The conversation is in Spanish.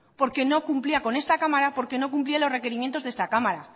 porque no cumplía con esta cámara porque no cumplía los requerimientos de esta cámara